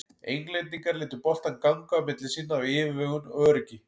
Englendingar létu boltann ganga á milli sín af yfirvegun og öryggi.